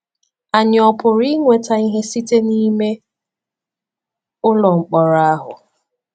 Anyị ọ̀ pụrụ inweta ihe site n’ime ụlọ mkpọrọ ahụ?